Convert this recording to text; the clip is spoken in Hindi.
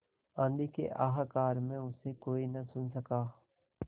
आँधी के हाहाकार में उसे कोई न सुन सका